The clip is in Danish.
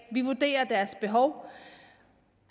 vi vurderer deres behov